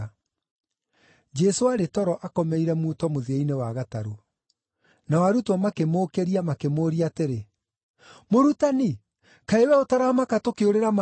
Jesũ aarĩ toro akomeire muto mũthia-inĩ wa gatarũ. Nao arutwo makĩmũũkĩria makĩmũũria atĩrĩ, “Mũrutani, kaĩ wee ũtaramaka tũkĩũrĩra maaĩ-inĩ?”